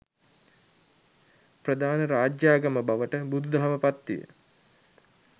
ප්‍රධාන රාජ්‍යාගම බවට බුදුදහම පත්විය.